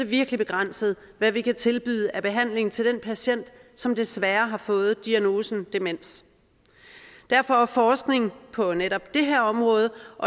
virkelig begrænset hvad vi kan tilbyde af behandling til den patient som desværre har fået diagnosen demens derfor er forskning på netop det her område